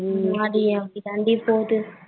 ஆமா டி அப்டிதாடி போகுது.